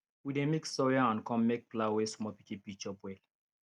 we dey mix soya and corn make flour wey small pikin fit chop well